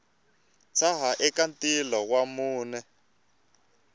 tshaha eka ntila wa mune